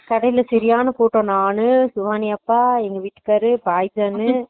கடைல செரியான கூட்டோ நானு சிவானி அக்கா எங்க வீட்டுக்காரரு பழனிச்சாமி